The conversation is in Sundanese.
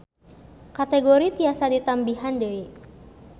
Kategori tiasa ditambihan deui